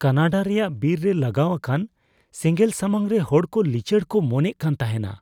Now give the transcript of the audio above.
Canada ᱨᱮᱭᱟᱜ ᱵᱤᱨ ᱨᱮ ᱞᱟᱜᱟᱣ ᱟᱠᱟᱱ ᱥᱮᱸᱜᱮᱞ ᱥᱟᱢᱟᱝᱨᱮ ᱦᱚᱲ ᱠᱚ ᱞᱤᱪᱟᱹᱲ ᱠᱚ ᱢᱚᱱᱮᱜ ᱠᱟᱱ ᱛᱟᱦᱮᱱᱟ᱾